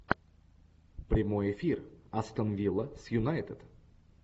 прямой эфир астон вилла с юнайтед